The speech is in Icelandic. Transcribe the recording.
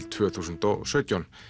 tvö þúsund og sautján